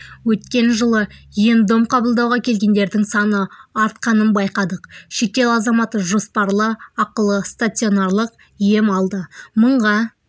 өткен жылы ем-дом қабылдауға келгендердің саны артқанын байқадық шетел азаматы жоспарлы ақылы стационарлық ем алды мыңға